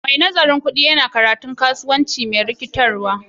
Mai nazarin kudi Yana karatu kasuwanci ma rikitarwa.